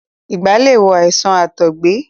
ìgbá lè wo àìsàn àtọ̀gbe.